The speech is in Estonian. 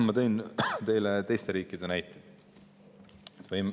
Ma tõin teile teiste riikide näiteid.